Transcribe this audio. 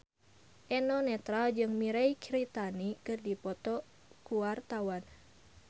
Eno Netral jeung Mirei Kiritani keur dipoto ku wartawan